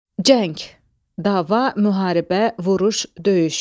Cəng, dava, müharibə, vuruş, döyüş.